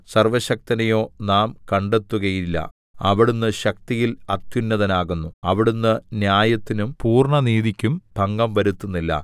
സർവ്വശക്തനെയോ നാം കണ്ടെത്തുകയില്ല അവിടുന്ന് ശക്തിയിൽ അത്യുന്നതനാകുന്നു അവിടുന്ന് ന്യായത്തിനും പൂർണ്ണനീതിക്കും ഭംഗം വരുത്തുന്നില്ല